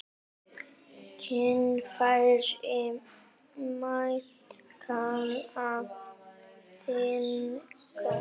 Kynfæri má kalla þing.